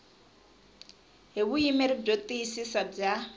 hi vuyimeri byo tiyisisa bya